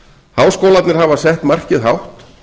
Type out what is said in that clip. háskólarnir hafa sett markið hátt